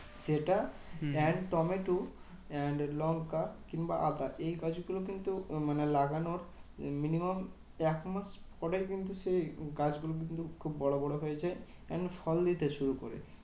সেটা and tomato and লঙ্কা কিংবা আদা এই গাছগুলো কিন্তু মানে লাগানোর minimum একমাস পরেই কিন্তু তুমি গাছগুলো কিন্তু খুব বড় বড় হয়েছে and ফল দিতে শুরু করেছে।